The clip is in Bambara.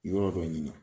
Yɔrɔ dɔ ɲini